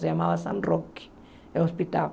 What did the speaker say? Se chamava San Roque, o hospital.